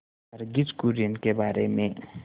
वर्गीज कुरियन के बारे में